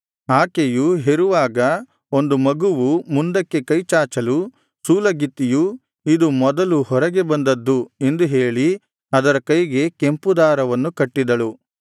ಆಕೆಯು ಹೆರುವಾಗ ಒಂದು ಮಗುವು ಮುಂದಕ್ಕೆ ಕೈಚಾಚಲು ಸೂಲಗಿತ್ತಿಯು ಇದು ಮೊದಲು ಹೊರಗೆ ಬಂದದ್ದು ಎಂದು ಹೇಳಿ ಅದರ ಕೈಗೆ ಕೆಂಪು ದಾರವನ್ನು ಕಟ್ಟಿದಳು